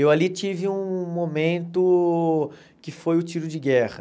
Eu ali tive um momento que foi o tiro de guerra.